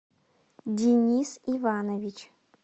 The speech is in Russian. денис иванович